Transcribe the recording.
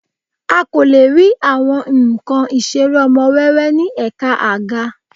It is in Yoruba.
A kò lè rí àwọn nǹkan Ìṣeré ọmọ wẹ́wẹ́ ní Ẹ̀ka àga